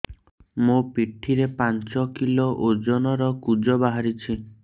ମୋ ପିଠି ରେ ପାଞ୍ଚ କିଲୋ ଓଜନ ର କୁଜ ବାହାରିଛି